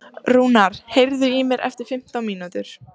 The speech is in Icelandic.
Rúnar, heyrðu í mér eftir fimmtán mínútur.